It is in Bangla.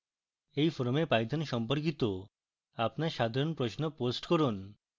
এই forum python সম্পর্কিত আপনার সাধারণ প্রশ্ন post করুন